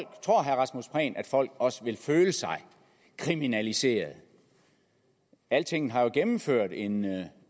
folk også vil føle sig kriminaliseret altinget har jo gennemført en